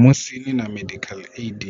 Musi ni na medical aid